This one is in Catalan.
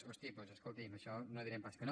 hosti doncs escolti’m a això no direm pas que no